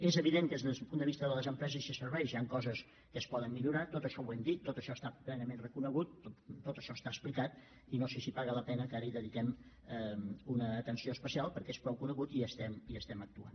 és evident que des del punt de vista de les empreses i serveis hi han coses que es poden millorar tot això ho hem dit tot això està plenament reconegut tot això està explicat i no sé si paga la pena que ara hi dediquem una atenció especial perquè és prou conegut i hi estem actuant